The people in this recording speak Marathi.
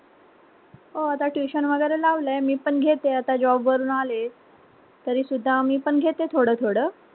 हो आता tuition वैगेरे लावलय मी पण घेते अता job वरून आले तरी सुद्धा मी पण घेते थोड - थोड,